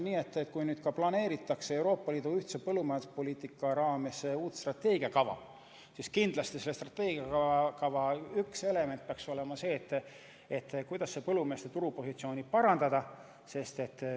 Ja kui nüüd planeeritakse Euroopa Liidu ühise põllumajanduspoliitika raames koostada uut strateegiakava, siis kindlasti selle strateegiakava üks element peaks olema see, kuidas põllumeeste turupositsiooni parandada.